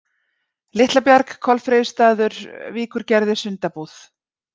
Litlabjarg, Kolfreyjustaður, Víkurgerði, Sundabúð